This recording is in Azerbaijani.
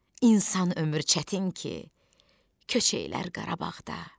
İnsan ömrü çətin ki, köçəylər Qarabağda.